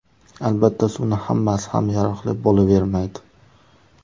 Albatta, suvning hammasi ham yaroqli bo‘lavermaydi.